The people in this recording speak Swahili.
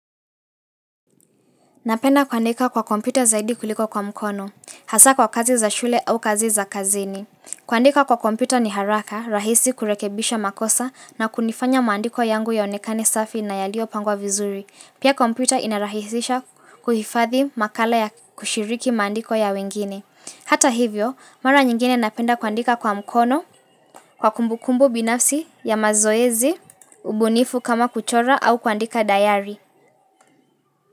Napenda kuandika kwa kompyuta zaidi kuliko kwa mkono, hasa kwa kazi za shule au kazi za kazini. Kuandika kwa kompyuta ni haraka, rahisi kurekebisha makosa na kunifanya maandiko yangu yaonekane safi na yaliyopangwa vizuri. Pia kompyuta inarahisisha kuhifadhi makala ya kushiriki maandiko ya wengine. Hata hivyo, mara nyingine napenda kuandika kwa mkono, kwa kumbukumbu binafsi ya mazoezi, ubunifu kama kuchora au kuandika dayari.